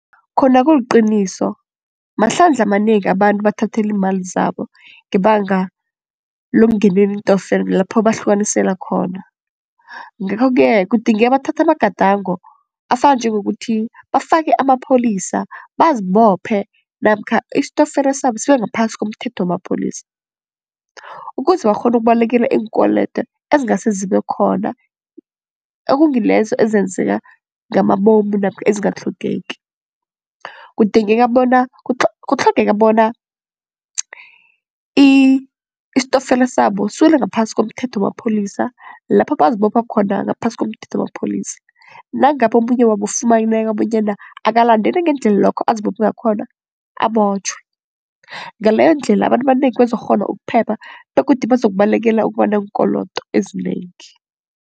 Khona kuliqiniso mahlandla amanengi abantu bathathelwa iimali zabo ngebanga lokungenela iintokfela lapho bahlukanisela khona, ngakho-ke kudingeka bathathe amagadango afana njengokuthi bafake amapholisa bazibophe namkha istokfela sabo sibe ngaphasi komthetho wamapholisa. Ukuze bakghone ukubalekela iinkwelede ezingase zibe khona okungilezo ezenzeka ngamabomu namkha ezingatlhogeki. Kudingeka bona kutlhogeka bona istokfela sabo siwele ngaphasi komthetho mapholisa lapho bazibopha khona ngaphasi komthetho mapholisa nangabe omunye wabo ufumaneka bonyana akalandeli ngendlela lokho azibopha ngakhona abotjhwe, ngaleyo ndlela abantu abanengi bazokukghona ukuphepha begodu bazokubalekela ukuba neenkolodo ezinengi.